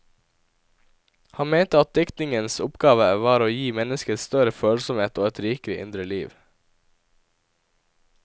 Han mente at diktningens oppgave var å gi mennesket større følsomhet og et rikere indre liv.